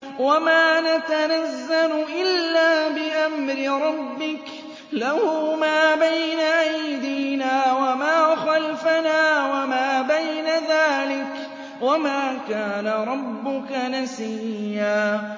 وَمَا نَتَنَزَّلُ إِلَّا بِأَمْرِ رَبِّكَ ۖ لَهُ مَا بَيْنَ أَيْدِينَا وَمَا خَلْفَنَا وَمَا بَيْنَ ذَٰلِكَ ۚ وَمَا كَانَ رَبُّكَ نَسِيًّا